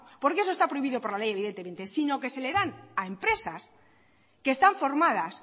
porque eso está prohibido por la ley evidentemente sino que se le dan a empresas que están formadas